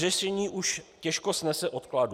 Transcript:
Řešení už těžko snese odkladu.